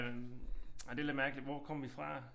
Øh ej det lidt mærkeligt hvor kom vi fra